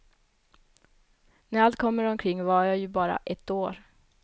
När allt kommer omkring var jag ju bara ett år.